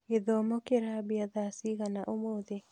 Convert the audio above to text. Gĩthomo kĩrambia thaa cigana ũmũthĩ?